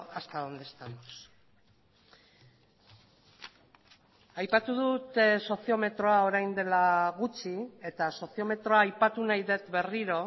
hasta donde estamos aipatu dut soziometroa orain dela gutxi eta soziometroa aipatu nahi dut berriro